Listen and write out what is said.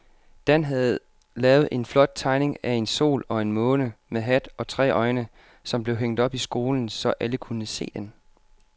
Dan havde lavet en flot tegning af en sol og en måne med hat og tre øjne, som blev hængt op i skolen, så alle kunne se den.